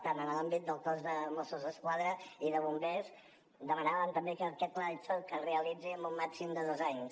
tant en l’àmbit del cos de mossos d’esquadra i de bombers demanàvem també que aquest pla de xoc es realitzi en un màxim de dos anys